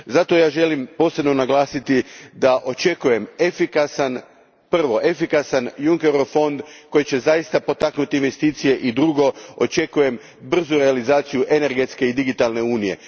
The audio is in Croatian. Zato želim posebno naglasiti da očekujem, prvo, efikasan Junckerov fond koji će zaista potaknuti investicije, i drugo, očekujem brzu realizaciju energetske i digitalne unije.